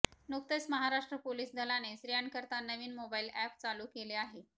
नुकतेच महाराष्ट्र पोलीस दलाने स्त्रियांकरिता नवीन मोबाईल अॅप चालू केले आहे